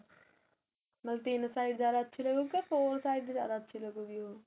ਤਿੰਨ side ਜਿਆਦਾ ਅੱਛੀ ਲੱਗੂ ਜਾਂ four side ਜਿਆਦਾ ਅੱਛੀ ਲੱਗੂਗੀ ਉਹ